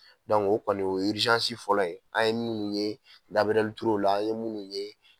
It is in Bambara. o kɔni fɔlɔ an ye munnu ye Gabriel Ture la an ye munnu ye.